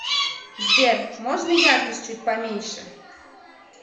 сбер можно яркость чуть поменьше